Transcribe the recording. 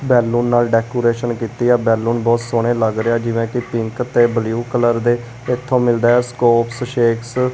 Balloon ਨਾਲ decoration ਕੀਤੀ ਆ। ਬੈਲੂਨ ਬਹੁਤ ਸੋਹਣੇ ਲੱਗ ਰਹੇ ਹੈ ਜਿਵੇਂ ਕਿ ਪਿੰਕ ਤੇ ਬਲੂ ਕਲਰ ਦੇ। ਇਥੋਂ ਮਿਲਦਾ ਹੈ ਸਕੋਪਸ ਸ਼ੇਕਸ --